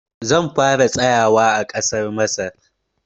Zan fara tsayawa a ƙasar Masar.